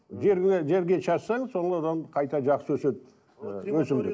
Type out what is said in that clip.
жерге жерге шашсаң қайта жақсы өседі і өсімдік